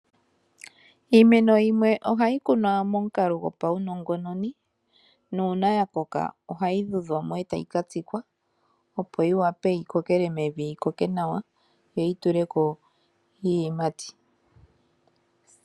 Iimeno yimwe ohayi kunwa momukalo gopaunongononi, nuuna ya koka ohai tudhwa mo e ta yi ka tsikwa opo yi wape yi kokele mevi, yi koke nawa yo yi tuleko iiyimati.